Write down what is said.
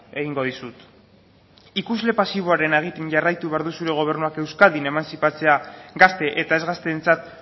egingo dizut ikusle pasiboarena egiten jarraitu behar du zure gobernuak euskadin emantzipatzea gazte eta ez gazteentzat